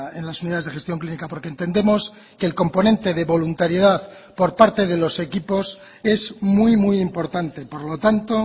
en las unidades de gestión clínica porque entendemos que el componente de voluntariedad por parte de los equipos es muy muy importante por lo tanto